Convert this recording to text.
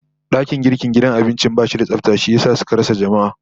Dakin girkin gidan abincin bashi da tsafta, shi yasa suka rasa jama'a